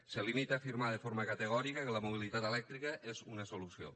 se limita a afirmar de forma categòrica que la mobilitat elèctrica és una solució